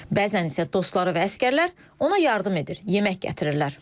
Bəzən isə dostları və əsgərlər ona yardım edir, yemək gətirirlər.